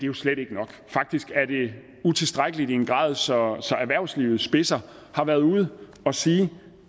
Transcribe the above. jo slet ikke nok faktisk er det utilstrækkeligt i en grad så erhvervslivets spidser har været ude at sige